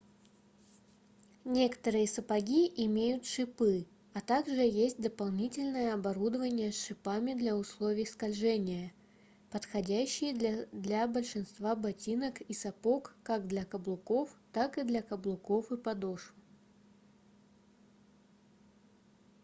некоторые сапоги имеют шипы а так же есть дополнительное оборудование с шипами для условий скольжения подходящие для большинства ботинок и сапог как для каблуков так и для каблуков и подошв